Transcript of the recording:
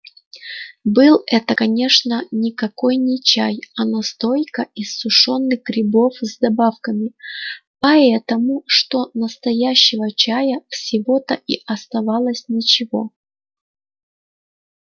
был это конечно никакой не чай а настойка из сушёных грибов с добавками потому что настоящего чая всего-то и оставалось ничего